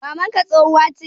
mamanka tsohuwa che?